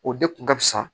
O de kun ka fisa